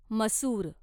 मसूर